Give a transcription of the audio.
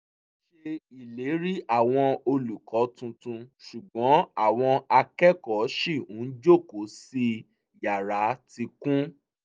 wọ́n ṣe ìlérí àwọn olùkọ́ tuntun ṣùgbọ́n àwọn akẹ́kọ̀ọ́ ṣì ń jókòó sí yará tí kún